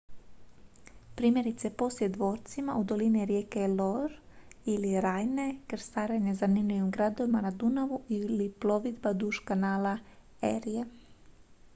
primjerice posjet dvorcima u dolini rijeke loire ili rajne krstarenje zanimljivim gradovima na dunavu ili plovidba duž kanala erie